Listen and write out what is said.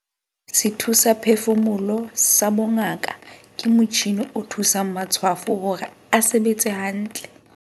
Sethusaphefumoloho sa bongaka ke motjhine o thusang matshwafo hore a sebetse hantle.